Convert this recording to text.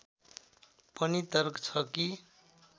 पनि तर्क छ कि